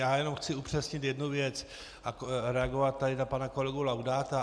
Já jenom chci upřesnit jednu věc a reagovat tady na pana kolegu Laudáta.